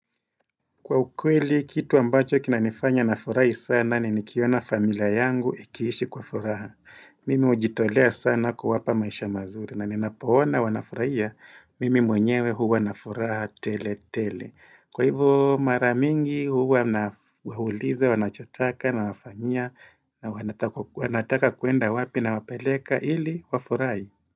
Kwa ukweli, kitu ambacho kinanifanya nafurahi sana ni nikiona familia yangu ikiishi kwa furaha. Mimi hujitolea sana kuwapa maisha mazuri na ninapo ona wanafurahia. Mimi mwenyewe huwa na furaha tele tele. Kwa hivo maramingi huwa nawauliza, wanachotaka nawafanyia na wanataka kwenda wapi nawapeleka ili wafurahi.